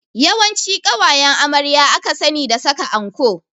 Yawanci ƙawayen amarya aka sani da saka anko